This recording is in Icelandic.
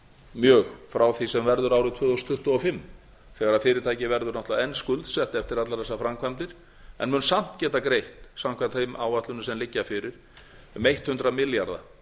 mjög frá því sem verður árið tvö þúsund tuttugu og fimm þegar fyrirtækið eru náttúrlega enn skuldsett eftir allar þessar framkvæmdir en mun samt geta greitt samkvæmt þeim áætlunum sem liggja fyrir um hundrað milljarða